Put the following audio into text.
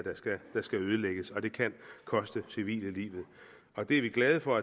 der skal ødelægges og det kan koste civile livet det er vi glade for